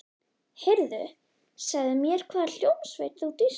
Heyrðu, segðu mér hvaða hljómsveit þú dýrkar.